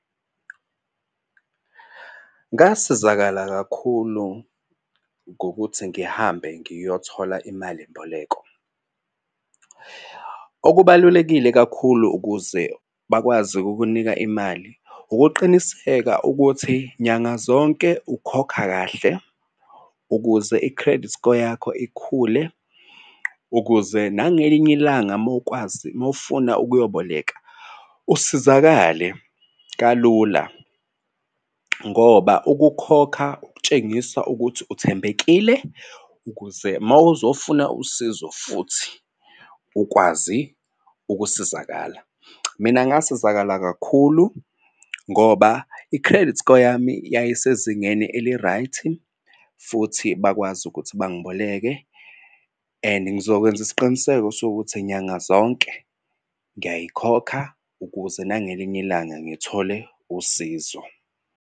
Ngasizakala kakhulu ngokuthi ngihambe ngiyothola imalimboleko. Okubalulekile kakhulu ukuze bakwazi ukukunika imali ukuqiniseka ukuthi nyanga zonke ukhokha kahle ukuze i-credit score yakho ikhule ukuze nangelinye ilanga uma ukwazi uma ufuna ukuyoboleka usizakale kalula, ngoba ukukhokha ukutshengisa ukuthi uthembekile ukuze uma uzofuna usizo futhi ukwazi ukusizakala. Mina ngasizakala kakhulu ngoba i-credit score yami yayisezingeni eli-right. Futhi bakwazi ukuthi bangiboleke and ngizokwenza isiqiniseko sokuthi nyanga zonke ngiyayikhokha ukuze nangelinye ilanga ngithole usizo.